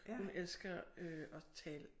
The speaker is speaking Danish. Hun elsker øh at tale